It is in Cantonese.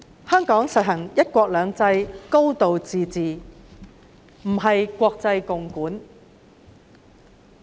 香港實行"一國兩制"、"高度自治"，不是國際共管。